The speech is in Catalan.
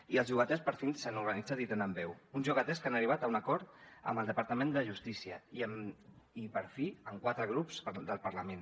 i els llogaters per fi s’han organitzat i tenen veu uns llogaters que han arribat a un acord amb el departament de justícia i per fi amb quatre grups del parlament